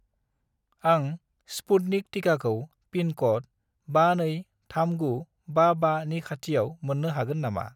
आं स्पुटनिक टिकाखौ pin code 523955 नि खाथिआव मोन्नो हागोन नामा